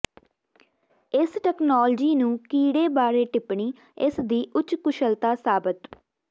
ਇਸ ਤਕਨਾਲੋਜੀ ਨੂੰ ਕੀੜੇ ਬਾਰੇ ਟਿੱਪਣੀ ਇਸ ਦੀ ਉੱਚ ਕੁਸ਼ਲਤਾ ਸਾਬਤ